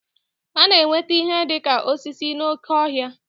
A na-enweta ihe dị ka osisi n'oké ọhịa